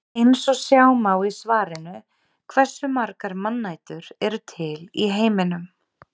Eins og sjá má í svarinu Hversu margar mannætur eru til í heiminum?